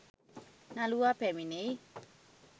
නළුවා පැමිණෙයි